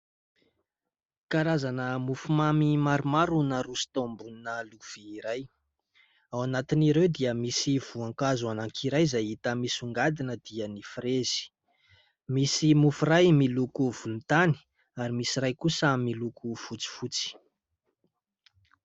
Karazana mofomamy maromaro no naroso tao ambonina lovia iray ; ao anatin'ireo dia misy voankazo iray izay hita misongadina dia ny "fraise". Misy mofo iray miloko volontany ary misy iray kosa miloko fotsifotsy.